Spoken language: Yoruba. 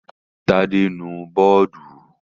Tádé nu bọ́ọ́dù.